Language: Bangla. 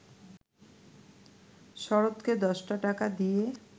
শরৎকে দশটা টাকা দিয়ে